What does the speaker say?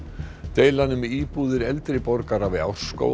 deilan um íbúðir eldri borgara við